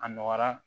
A nɔgɔyara